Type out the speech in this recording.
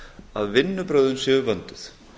að vinnubrögðin séu vönduð